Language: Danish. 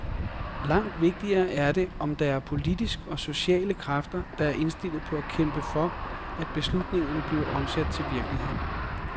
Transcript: Langt vigtigere er det, om der er politiske og sociale kræfter, der er indstillet på at kæmpe for, at beslutningerne bliver omsat til virkelighed.